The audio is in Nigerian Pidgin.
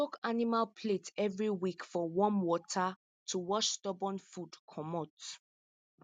soak animal plate every week for warm water to wash stubborn food comot